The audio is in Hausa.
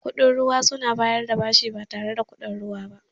Bankuna mara kuɗin ruwa suna bayar da bashi ba tare da kuɗin ruwa ba.